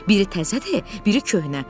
Biri təzədir, biri köhnə.